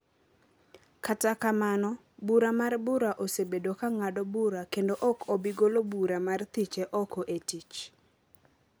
Kata kamano, bura mar bura osebedo ka ng’ado bura kendo ok obi golo bura mar thiche oko e tich